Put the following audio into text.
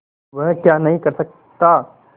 वह क्या नहीं कर सकता